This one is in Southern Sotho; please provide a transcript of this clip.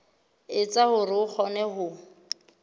etsa hore o kgone ho